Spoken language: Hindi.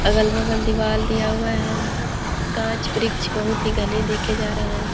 अगल बगल दीवाल दिया हुआ है गाच वृक्ष बहुत ही घने देखे जा रहे हैं।